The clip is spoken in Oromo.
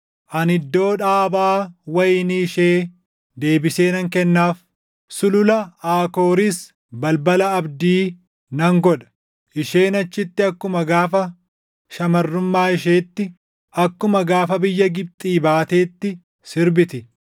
Ani iddoo dhaabaa wayinii ishee deebisee nan kennaaf; Sulula Aakooris balbala abdii nan godha. Isheen achitti akkuma gaafa shamarrummaa isheetti, akkuma gaafa biyya Gibxii baateetti sirbiti.